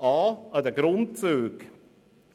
Erstens: An den Grundzügen